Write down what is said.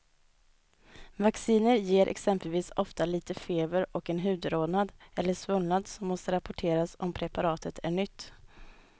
Vacciner ger exempelvis ofta lite feber och en hudrodnad eller svullnad som måste rapporteras om preparatet är nytt.